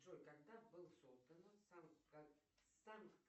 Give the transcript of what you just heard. джой когда был создан